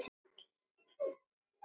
Ég varð fyrir slysi,